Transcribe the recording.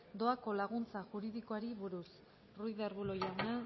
doako laguntza juridikoari buruz ruiz de arbulo jauna